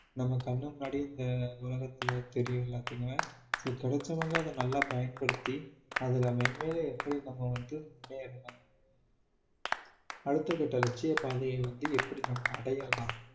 நம்ம கண்ணு முன்னாடியே இந்த உலகத்துல தெரியும் எல்லாத்துக்குமே so கிடைச்சவங்க அதை நல்லா பயன்படுத்தி அதுல மேன்மேலும் எப்படி நம்ம வந்து முன்னேறணும் அடுத்த கட்ட லட்சிய பாதையை வந்து எப்படி நம்ம அடையலாம்